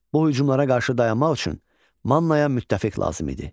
Bu hücumlara qarşı dayanmaq üçün Mannaya müttəfiq lazım idi.